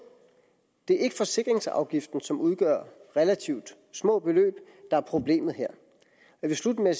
det er ikke forsikringsafgiften som udgør relativt små beløb der er problemet her jeg vil slutte med